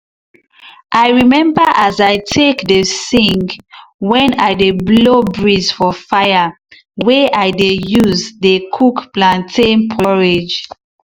i remember as i take dey sing when i dey blow breez for fire way i dey dey use dey cook plantain porridge.